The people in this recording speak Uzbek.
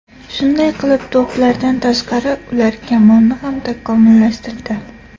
Shunday qilib, to‘plardan tashqari, ular kamonni ham takomillashtirdi.